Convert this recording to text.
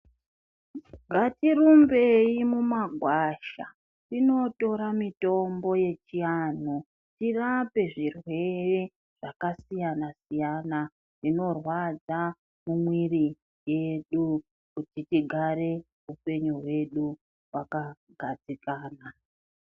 Ngatirumbei mumagwasha tinotora mitombo uechiantu tirape zvirwere zvakasiyna-siyana zvinorwadza mumwiri yedu kuti tigare hupenyu hwedu hwakagadzikana.